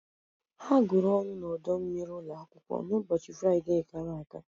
Ha gwuru ọnụ n'ọdọ mmiri ụlọ akwụkwọ n'ụbọchị Fraịde gara aga.